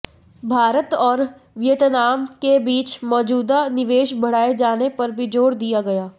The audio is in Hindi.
भारत और वियतनाम के बीच मौजूदा निवेश बढ़ाए जाने पर भी जोर दिया गया